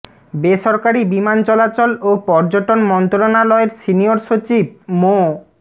বেসরকারি বিমান চলাচল ও পর্যটন মন্ত্রণালয়ের সিনিয়র সচিব মো